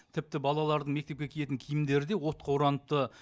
тіпті балалардың мектепке киетін киімдері де отқа ораныпты